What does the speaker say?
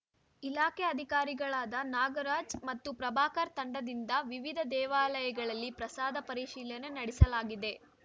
ಇಲಾಖೆ ಅಧಿಕಾರಿಗಳಾದ ನಾಗರಾಜ್ ಮತ್ತು ಪ್ರಭಾಕರ್ ತಂಡದಿಂದ ವಿವಿಧ ದೇವಾಲಯಗಳಲ್ಲಿ ಪ್ರಸಾದ ಪರಿಶೀಲನೆ ನಡೆಸಲಾಗಿದೆ